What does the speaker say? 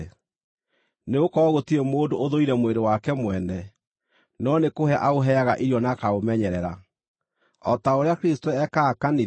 Nĩgũkorwo gũtirĩ mũndũ ũthũire mwĩrĩ wake mwene, no nĩkũhe aũheaga irio na akaũmenyerera, o ta ũrĩa Kristũ ekaga kanitha,